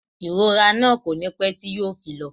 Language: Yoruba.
Ìrora náà kò ní pé tí yo fi lọ